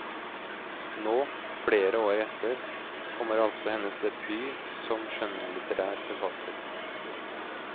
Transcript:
Nå, flere år etter, kommer altså hennes debut som skjønnlitterær forfatter.